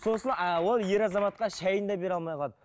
сосын ол ер азаматқа шайын да бере алмай қалады